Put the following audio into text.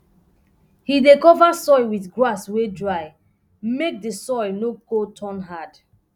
he dey cover soil with grass wey dry make d soil no go turn hard